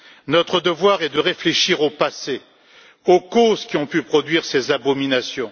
Notre devoir est de réfléchir au passé, aux causes qui ont pu produire ces abominations.